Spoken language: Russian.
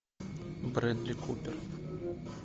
бредли купер